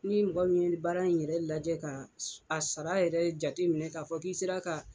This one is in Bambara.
Ni mɔgɔ min baara in yɛrɛ lajɛ ka a sara yɛrɛ jate minɛ k'a fɔ k'i sera ka